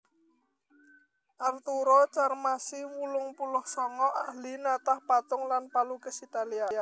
Arturo Carmassi wolung puluh sanga ahli natah patung lan palukis Italia